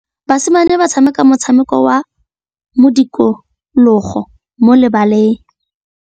Basimane ba tshameka motshameko wa modikologô mo lebaleng.